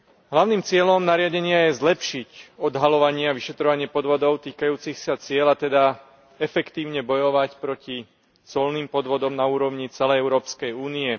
Hlavným cieľom nariadenia je zlepšiť odhaľovanie a vyšetrovanie podvodov týkajúcich sa ciel, a teda efektívne bojovať proti colným podvodom na úrovni celej Európskej únie.